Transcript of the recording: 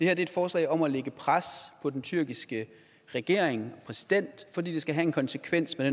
er et forslag om at lægge et pres på den tyrkiske regering og præsident fordi det skal have en konsekvens med